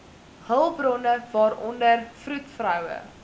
hulpbronne waaronder vroedvroue